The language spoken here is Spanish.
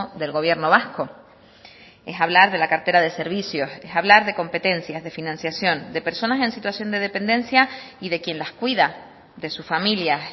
del gobierno vasco es hablar de la cartera de servicios es hablar de competencias de financiación de personas en situación de dependencia y de quien las cuida de sus familias